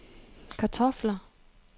kartofler